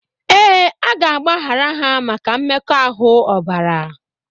Ee, a ga-agbaghara ha maka mmekoahu obara.